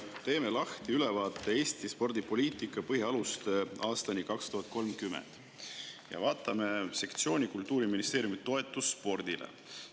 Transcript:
Teeme lahti ülevaate "Eesti spordipoliitika põhialuste aastani 2030" ja vaatame sektsiooni "Kultuuriministeeriumi toetused spordile".